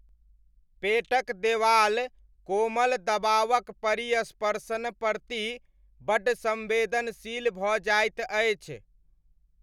पेटक देवाल कोमल दबावक परिस्पर्शन प्रति बड्ड सम्वेदनशील भऽ जाइत अछि।